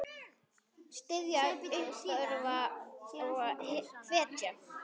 Styðja, uppörva og hvetja.